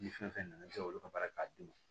Ni fɛn fɛn nana i bɛ se k'olu ka baara k'a d'i ma